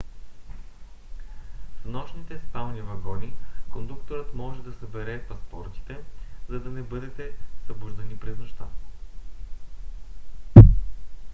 в нощните спални вагони кондукторът може да събере паспортите за да не бъдете събуждани през нощта